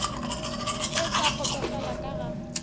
e sa kgotsofala ka ga